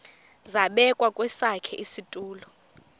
zabekwa kwesakhe isitulo